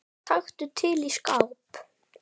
Það var nú líkast til.